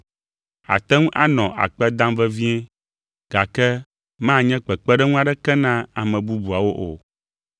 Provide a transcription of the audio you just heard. Àte ŋu anɔ akpe dam vevie, gake manye kpekpeɖeŋu aɖeke na ame bubuawo o.